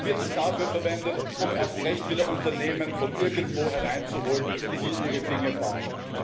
Oder wird es dafür verwendet, erst recht wieder Unternehmen von irgendwo hereinzuholen, die hier ihre Dinge bauen?